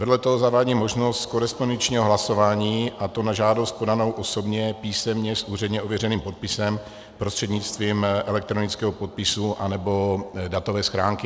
Vedle toho zavádí možnost korespondenčního hlasování, a to na žádost podanou osobně, písemně s úředně ověřeným podpisem, prostřednictvím elektronického podpisu anebo datové schránky.